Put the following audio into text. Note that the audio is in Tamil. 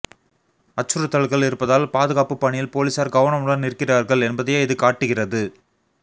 அச்சுறுத்தல்கள் இருப்பதால் பாதுகாப்பு பணியில் போலீசார் கவனமுடன் இருக்கிறார்கள் என்பதையே இது காட்டுகிறது